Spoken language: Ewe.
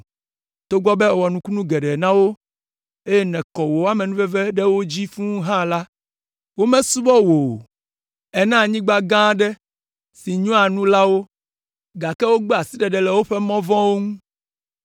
Togbɔ be èwɔ nukunu geɖewo na wo, eye nèkɔ wò amenuveve ɖe wo dzi fũu hã la, womesubɔ wò o. Èna anyigba gã aɖe si nyoa nu la wo, gake wogbe asiɖeɖe le woƒe mɔ vɔ̃wo ŋu.